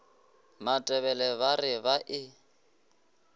matebele ba re ba e